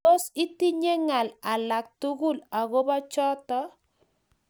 Tos, itinye ngaal alak tugul agobo choto?